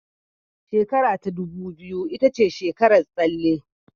Shekarar dubu biyu ita ce shekarar tsalle